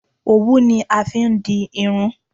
òwún ni a fi n di irun